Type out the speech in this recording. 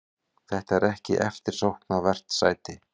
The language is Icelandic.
Þetta er ekki eftirsóknarvert sæti.